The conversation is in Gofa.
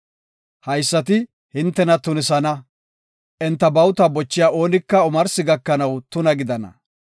“Haysati hintena tunisana; enta bawuta bochiya oonika omarsi gakanaw tuna gidana.